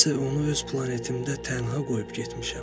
Mən isə onu öz planetimdə tənha qoyub getmişəm.